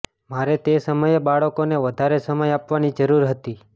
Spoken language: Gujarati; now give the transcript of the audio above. મારે તે સમયે બાળકોને વધારે સમય આપવાની જરુર હતી